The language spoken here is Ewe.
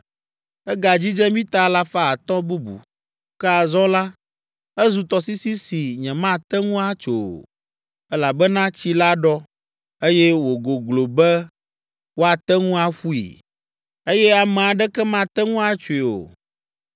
Egadzidze mita alafa atɔ̃ (500) bubu, ke azɔ la, ezu tɔsisi si nyemate ŋu atso o, elabena tsi la ɖɔ, eye wògoglo be woate ŋu aƒui, eye ame aɖeke mate ŋu atsoe o.